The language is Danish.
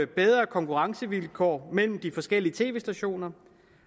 bedre konkurrencevilkår mellem de forskellige tv stationer